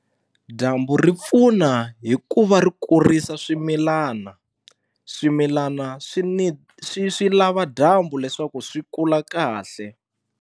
Dyambu ri pfuna hi ku va ri kurisa swimilana swimilana swi ni swi swi lava dyambu leswaku swi kula kahle.